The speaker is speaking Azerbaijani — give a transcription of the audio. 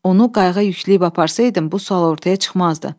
Onu qayığa yükləyib aparsaydım, bu sual ortaya çıxmazdı.